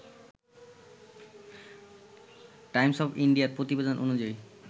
Times of ইন্ডিয়ার প্রতিবেদন অনুযায়ী